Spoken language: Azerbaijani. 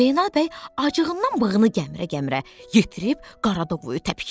Zeynəb bəy acığından bığını gəmirə-gəmirə yetirib Qaradavoyu təpiklədi.